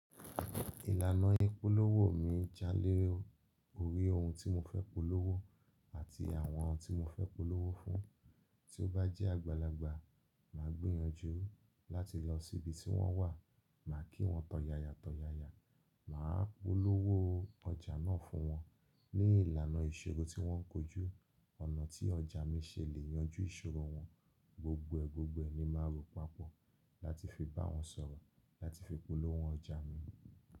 Ìlànà ìpolówó mi jálè orí ohun tí mo fẹ́ polówó àti àwọn tí mo fẹ́ polówó fún. Tí ó bá jẹ́ àgbàlagbà, máa gbìyànjú láti lọ síbi tí wọ́n wà, màá kí wọ́n tọ̀yàyà tọ̀yàyà, màá polówó ọjà náà fún wọn ní ìlànà ìṣirò tí wọ́n ń kojú. Ọ̀nà tí ọjà mi ṣe lè yanjú ìṣòro wọn gbogboẹgbogbòẹ ni màá rò papọ̀ láti fi bá wọn sọ̀rọ̀ láti fi polówó ọjà mi.